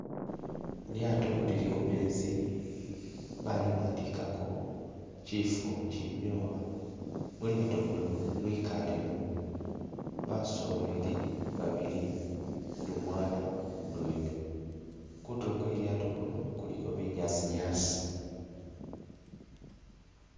Lyaato lili kumezi baliwandikako kyifo kyinyowa mulyato muno mwikalemo basoleli babili ni umwana mudwela kutulo kwe lyato kuno kuliko binyaasi nyasi